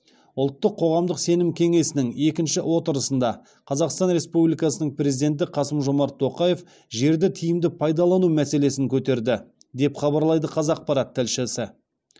ұлттық қоғамдық сенім кеңесінің екінші отырысында қазақстан республикасының президенті қасым жомарт тоқаев жерді тиімді пайдалану мәселесін көтерді деп хабарлайды қазақпарат тілшісі